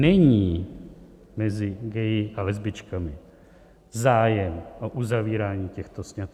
Není mezi gayi a lesbičkami zájem o uzavírání těchto sňatků.